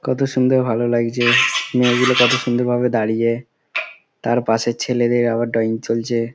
কতো সুন্দর ভালো লাগছে মেয়েগুলো কতো সুন্দর ভাবে দাঁড়িয়ে তার পাশে ছেলেদের আবার ড্রয়িং চলছে।